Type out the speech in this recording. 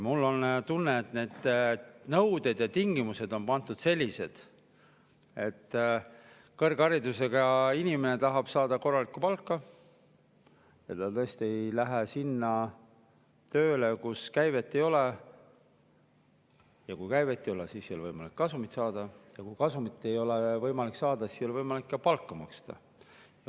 Mul on tunne, et nende nõudmiste ja tingimuste, et kõrgharidusega inimene, kes tahab saada korralikku palka, tõesti ei lähe tööle sinna, kus käivet ei ole, sest kui käivet ei ole, siis ei ole võimalik kasumit saada, ja kui kasumit ei ole võimalik saada, siis ei ole võimalik ka palka maksta.